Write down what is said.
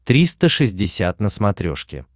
триста шестьдесят на смотрешке